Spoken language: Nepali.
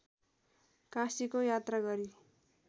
काशीको यात्रा गरी